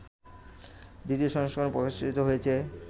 ২য় সংস্করণ প্রকাশিত হয়েছে